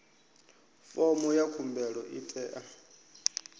fomo ya khumbelo i tea